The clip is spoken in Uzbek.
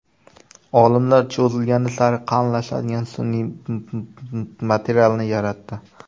Olimlar cho‘zilgani sari qalinlashadigan sun’iy materialni yaratdi.